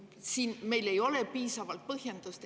Meil ei ole selleks piisavalt põhjendusi.